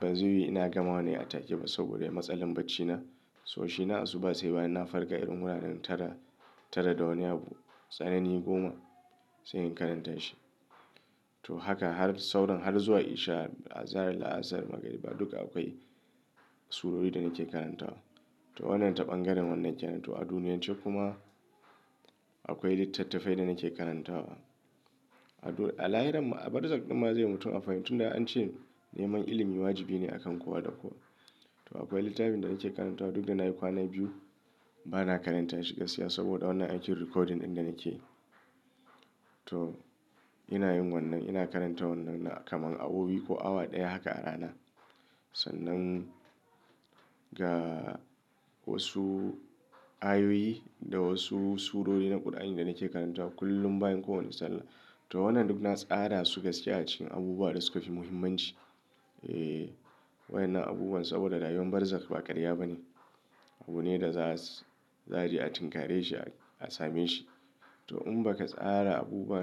ban zaiyiwu ina gama wannan a take ba saboda ya yi matsalar bacina. To shi na asuba sai bayan na farka irin wuraren tara tara da wani abu tsanani goma sai in karanta shi. To haka har sauran har zuwa isha, azahar, la'asar, magariba duka akwai surori da nake karantawa. To wannan taɓangaren wannan kenan to a duniyar can kuma akwai littattafai da nake karantawa. A lahiran a barzakh ɗin ma zai yi mutum amfani tun da an ce neman ilimi wajibi ne a kan kowa da kowa. To akwai littafin da nake karantawa duk da na yi kwana biyu bana karanta shi gaskiya saboda wannan aikin recording ɗin da nake. To ina yin wannan ina karanta wannan kamar awowi ko awa ɗaya haka a rana. Sannan ga wasu ayoyi da wasu surori na ƙur'ani da nake karantawa kullum bayan kowane sallah. To wannan duk na tsara su gaskiya a cikin abubuwa da suka fi muhimmanci. E wannan abubuwan saboda rayuwan barzakh ba karya ba ne. Abu ne da za su za a je a tinkare shi a same shi. To in ba ka tsara abubuwa.